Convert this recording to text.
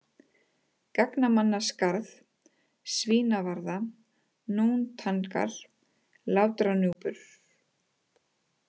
Gangnamannaskarð, Svínavarða, Nóntangar, Látranúpur